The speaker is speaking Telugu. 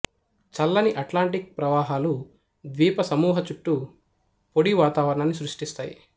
చల్లని అట్లాంటిక్ ప్రవాహాలు ద్వీపసమూహ చుట్టూ పొడి వాతావరణాన్ని సృష్టిస్తాయి